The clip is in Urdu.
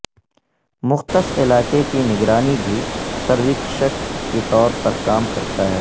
مختص علاقے کی نگرانی بھی سرویکشک کے طور پر کام کرتا ہے